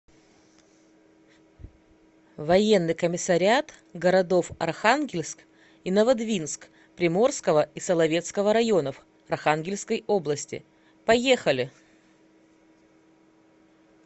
военный комиссариат городов архангельск и новодвинск приморского и соловецкого районов архангельской области поехали